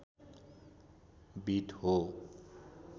beet हो